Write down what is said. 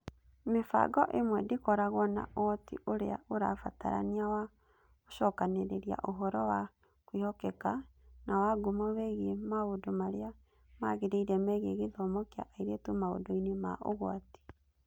Mĩbango ĩmwe ndĩkoragwo na ũhoti ũrĩa ũrabatarania wa gũcokanĩrĩria ũhoro wa kwĩhokeka na wa ngumo wĩgiĩ maũndũ marĩa magĩrĩire megiĩ gĩthomo kĩa airĩtu maũndũ-inĩ ma ũgwati.